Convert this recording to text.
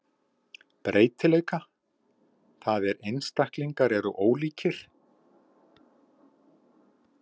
Breytileika, það er einstaklingar eru ólíkir.